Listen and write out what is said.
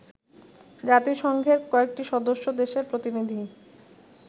জাতিসংঘের কয়েকটি সদস্য দেশের প্রতিনিধি